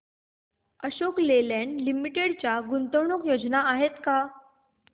Ashok Leyland limited च्या गुंतवणूक योजना आहेत का